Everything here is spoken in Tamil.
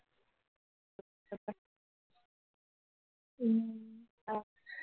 உம் அஹ்